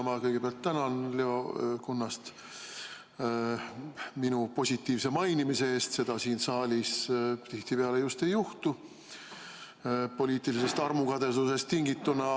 Ma kõigepealt tänan Leo Kunnast minu positiivse mainimise eest, seda siin saalis tihti just ei juhtu, poliitilisest armukadedusest tingituna.